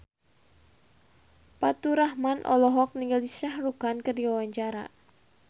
Faturrahman olohok ningali Shah Rukh Khan keur diwawancara